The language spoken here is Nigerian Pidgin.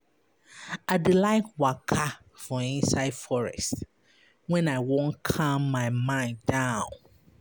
I dey like waka for inside forest wen I wan calm my mind down.